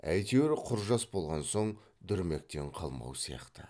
әйтеуір құр жас болған соң дүрмектен қалмау сияқты